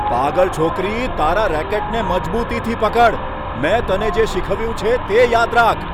પાગલ છોકરી. તારા રેકેટને મજબૂતીથી પકડ. મેં તને જે શીખવ્યું છે, તે યાદ રાખ.